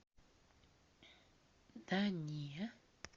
да не